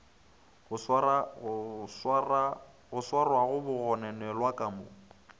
go swarwaga bagononelwa ka mo